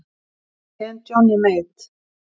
En Johnny Mate?